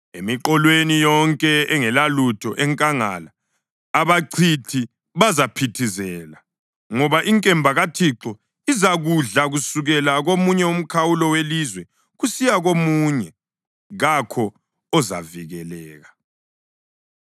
Emiqolweni yonke engelalutho enkangala abachithi bazaphithizela, ngoba inkemba kaThixo izakudla kusukela komunye umkhawulo welizwe kusiya komunye; kakho ozavikeleka.